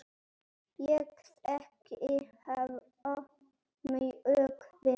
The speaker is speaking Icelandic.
Ég þekki hafa mjög vel.